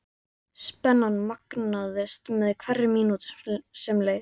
Spennan magnaðist með hverri mínútu sem leið.